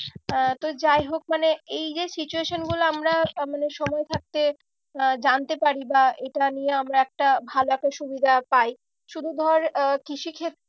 তো আহ যাই হোক মানে এই যে situation গুলো আমরা মানে সময় থাকতে আহ জানতে পারি বা এটা নিয়ে আমরা একটা ভালো একটা সুবিধা পাই শুধু ধর আহ কৃষি